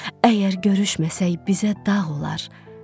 Əgər görüşməsək, bizə dağ olar.